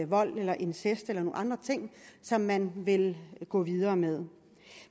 vold eller incest eller nogle andre ting som man vil gå videre med